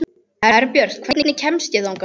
Herbjört, hvernig kemst ég þangað?